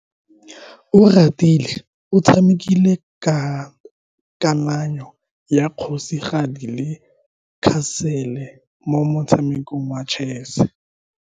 Oratile o tshamekile kananyo ya kgosigadi le khasele mo motshamekong wa chess.